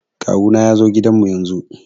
Kawu na ya zo gidan mu yanzun